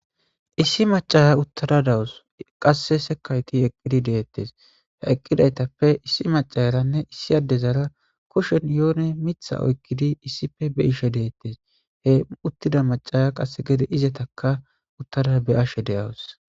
Issi macaya uttada dawus qasse sekayti eqqidi deettes he eqqidaytappe issi macaaranne issi adde zara kushen yoone mitha oykkidi issife be ishe deettes he uttida macaya qasse gede izataka uttada be ashe deyawus